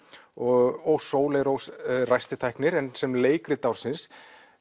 og Sóley Rós ræstitæknir en sem leikrit ársins